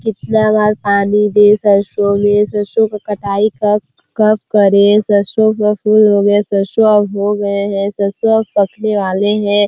कितना बार पानी दे सरसो में सरसो का कटाई कब कब करे सरसो का फूल हो गए है सरसो अब हो गए है सरसो अब पकने वाले है।